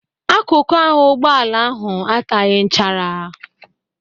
Akụkụ ahụ ụgbọala ahụ ataghị nchara.